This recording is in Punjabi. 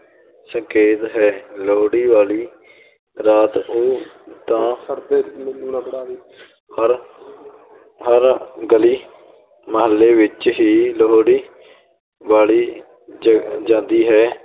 ਸੰਕੇਤ ਹੈ, ਲੋਹੜੀ ਵਾਲੀ ਰਾਤ ਉਹ ਤਾਂ ਹਰ ਹਰ ਗਲੀ ਮਹੱਲੇ ਵਿੱਚ ਹੀ ਲੋਹੜੀ ਬਾਲੀ ਜ~ ਜਾਂਦੀ ਹੈ।